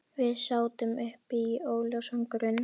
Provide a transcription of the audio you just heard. Við sátum uppi óljósan grun.